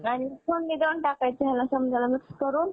आणि फोडणी देऊन टाकायचं ह्यला सम्दयला mix करून